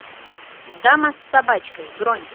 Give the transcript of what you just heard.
дама с собачкой бронь